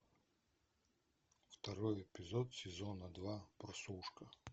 второй эпизод сезона два прослушка